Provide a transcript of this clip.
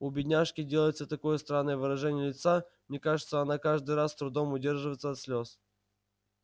у бедняжки делается такое странное выражение лица мне кажется она каждый раз с трудом удерживается от слез